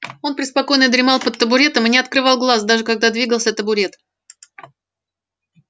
он преспокойно дремал под табуретом и не открывал глаз даже когда двигался табурет